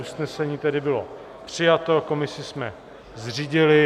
Usnesení tedy bylo přijato, komisi jsme zřídili.